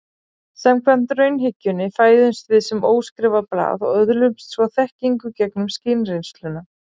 Samkvæmt raunhyggjunni fæðumst við sem óskrifað blað og öðlumst svo þekkingu gegnum skynreynsluna.